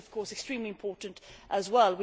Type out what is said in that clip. This is of course extremely important as well.